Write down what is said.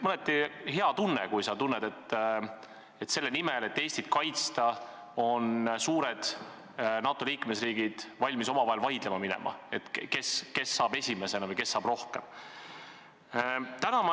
Oli hea tunda, et selle nimel, et Eestit kaitsta, lähevad suured NATO liikmesriigid omavahel vaidlema, kes tuleb siia esimesena või kes saab siin rohkem olla.